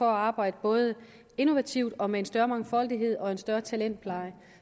arbejde både innovativt og med en større mangfoldighed og en større talentpleje